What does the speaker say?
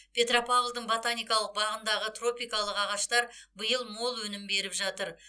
петропавлдың ботаникалық бағындағы тропикалық ағаштар биыл мол өнім беріп жатыр